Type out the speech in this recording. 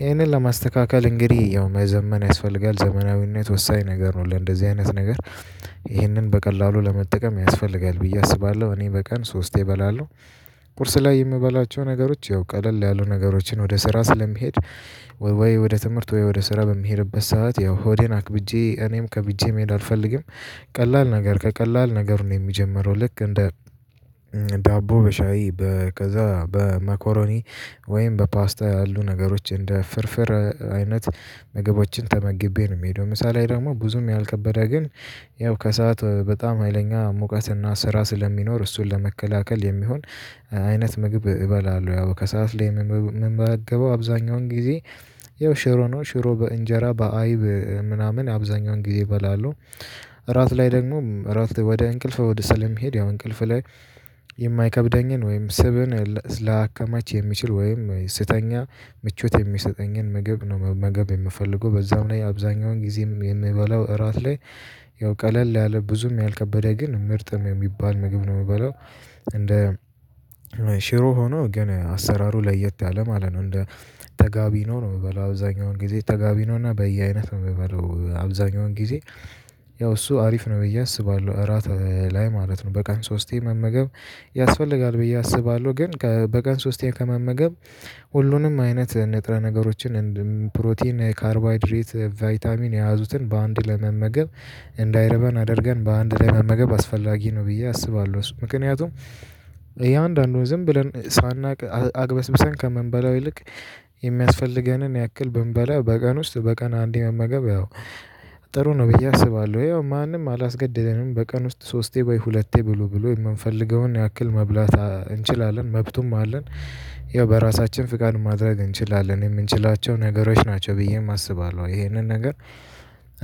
ይሄንን ለማስተካከል እንግዲህ ያው መዘመን ያስፈልጋል ዘመናዊነት ወሳኝ ነገር ነው ለእንደዚህ አይነት ነገር። ይህንን በቀላሉ ለመጠቀም ያስፈልጋል ብዬ አስባለሁ እኔ በቀን ሶስቴ እበላለሁ። ቁርስ ላይ የምበላቸው ነገሮች ያው ቀለል ያሉ ነገሮችን ወደ ስራ ስለምሄድ ወይ ወደ ትምህርት ወይ ወደ ስራ በሚሄድበት ሰዓት ያው ሆዴን አክብጄ እኔም ከብቼ መሄድ አልፈልግም። ቀላል ነገር ከቀላል ነገሩ ነው የምጀምረው ልክ እንደ ዳቦ በሻይ ከዛ በመኮሮኒ ወይም በፓስታ ያሉ ነገሮች እንደ ፍርፍር አይነት ምግቦችን ተመግቤ ነው የምሄደው። ምሳ ላይ ደግሞ ብዙም ያልከበደ ግን ያው ከሰአት በጣም ሀይለኛ ሙቀትና ስራ ስለሚኖር እሱን ለመከላከል የሚሆን አይነት ምግብ እበላለሁ ያው ከሰአት ላይ ምመገበው አብዛኛውን ጊዜ። የው ሽሮ ነው ሽሮ በእንጀራ በአይብ ምናምን አብዛኛውን ጊዜ እበላለሁ። እራት ላይ ደግሞ እራት ወደ እንቅልፍ ወደ ሰለም መሄድ ያው እንቅልፍ ላይ። የማይከብደኝን ወይም ስብን ላያከማች የሚችል ወይም ስተኛ ምቾት የሚሰጠኝን ምግብ ነው መገብ የምፈልገው በዛም ላይ አብዛኛውን ጊዜም የምበላው እራት ላይ ያው ቀለል ያለ ብዙም ያልከበደ ግን ምርጥም የሚባል ምግብ ነው የምበለው። እንደ ሽሮ ሆኖ ግን አሰራሩ ለየት ያለ ማለት ነው እንደ ተጋቢ ነው የምበለው አብዛኛውን ጊዜ ተጋቢ ነው እና በየአይነት የምበለው አብዛኛውን ጊዜ። ያው አሪፍ ነው ብዬ አስባለሁ እራት ላይ ማለት ነው በቃን ሶስቴ መመገብ ያስፈልጋል ብዬ አስባለሁ። ግን በቀን ሶስቴ ከመመገብ ሁሉንም አይነት ንጥረ ነገሮችን እንዲሁም ፕሮቲን ካርቦሃይድሬት ቫይታሚን የያዙትን በአንድ ለመመገብ እንዳይርበን አድርገን በአንድ መመገብ አስፈላጊ ነው ብዬ አስባለሁ። ምክንያቱም የአንዳንዱን ዝም ብለን ሳናውቅ አግበስብሰን ከምንበላው ይልቅ የሚያስፈልገንን ያክል ብንበላ በቀን ውስጥ በቀን አንዴ መመገብ ያው ጥሩ ነው ብዬ አስባለሁ። ያው ማንም አላስገደደንም በቀን ውስጥ ሶስቴ ወይ ሁለቴ ብሎ ብሎ የምንፈልገውን ያክል መብላት እንችላለን መብቱም አለን። ያው በራሳችን ፍቃድ ማድረግ እንችላለን የምንችላቸው ነገሮች ናቸው ብዬም አስባለሁ ይሄንን ነገር።